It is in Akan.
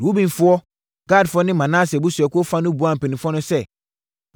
Rubenfoɔ, Gadfoɔ ne Manase abusuakuo fa no buaa mpanimfoɔ no sɛ,